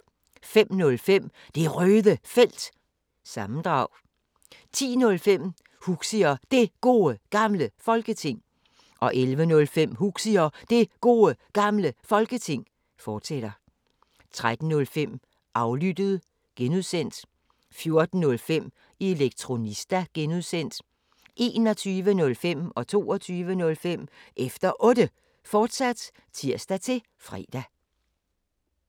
05:05: Det Røde Felt – sammendrag 10:05: Huxi og Det Gode Gamle Folketing 11:05: Huxi og Det Gode Gamle Folketing, fortsat 13:05: Aflyttet (G) 14:05: Elektronista (G) 21:05: Efter Otte, fortsat (tir-fre) 22:05: Efter Otte, fortsat (tir-fre)